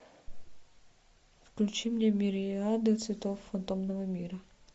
включи мне мириады цветов фантомного мира